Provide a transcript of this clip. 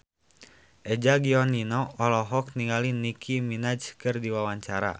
Eza Gionino olohok ningali Nicky Minaj keur diwawancara